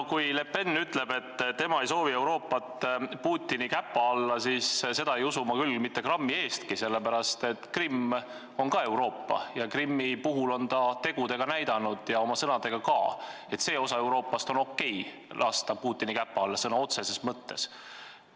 No kui Le Pen ütleb, et tema ei soovi Euroopat Putini käpa alla, siis seda ei usu ma küll mitte grammi eestki, sest Krimm on ka Euroopa ja Krimmi puhul on ta näidanud tegudega ja sõnadega ka, et on okei lasta see osa Euroopast Putini käpa alla sõna otseses mõttes.